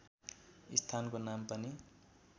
स्थानको नाम पनि